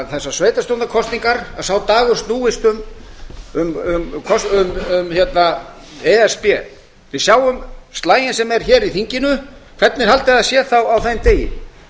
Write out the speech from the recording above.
þessar dagur sveitarstjórnarkosninga snúist um e s b við sjáum slaginn sem er hér í þinginu hvernig haldið þið að það sé þá á þeim degi